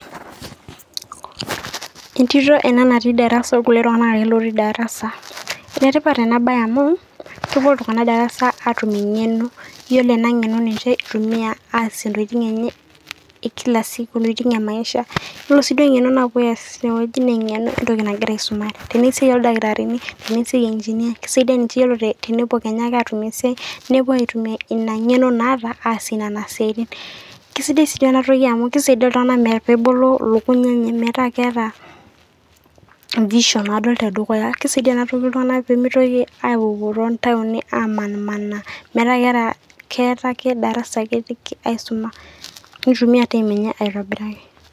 Entito ena natii darasa orkulie tunganak lootii darasa enetipat ena baye amu kepuo iltinganak darasa aatum engeno peepuo aadie intokitin enye e Kila siku wenemaisha yiolo sii engeno napuo aatum naa enentoki nagira aisumare Tena esiai ooldskitarini enaa eneigeneer kisaidia ninche tenepuo Kenya aatum esiai nepuo aitumia ina ngeno maata aadie Nena siaitin naa kisidai sii ena baye amu kisaidia iltinganak metubulu ilukuny enye